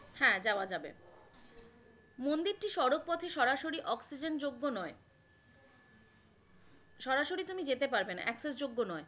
হ্যাঁ যাওয়া যাবে, মন্দিরটি সরাসরি সড়কপথে অক্সিজেন যোগ্য নয়, সারাসরি তুমি যেতে পারবে না Access যোগ্য নয়।